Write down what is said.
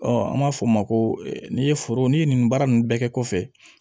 an b'a fɔ o ma ko n'i ye foro n'i ye nin baara ninnu bɛɛ kɛ kɔfɛ